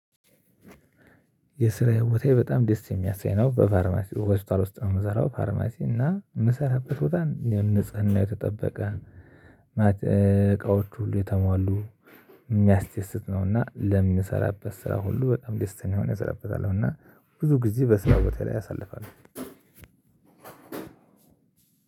የስራዬ ቦታዬ በጣም ደስ የሚያሰኝ ነው በፋርማሲ ሆስፒታል ውስጥ ነው። የምንሰራው ፋርማሲ እና የምሰራበት ቦታ ንጽህናው የተጠበቀ እቃዎቹ ሁሉ የተሟሉ የሚያስደስት ነው። እና ለምሰራበት ስራ ሁሉ በጣም ደስተኛ ሆኜ እሰራበታለሁ። እና ብዙ ጊዜ በስራ ቦታዬ ላይ አሳልፋለው።